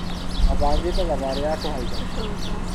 Mabangĩte thabarĩ ya kũhaica kĩrĩma.